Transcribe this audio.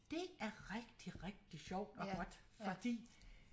Det er rigtig rigtig sjovt og godt fordi